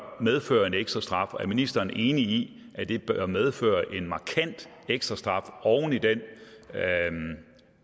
medføre en ekstrastraf er ministeren enig i at det bør medføre en markant ekstrastraf oven i den